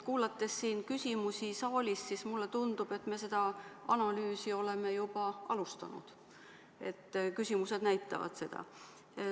Kuulates küsimusi saalist, siis mulle tundub, et me seda analüüsi oleme juba alustanud – küsimused näitavad seda.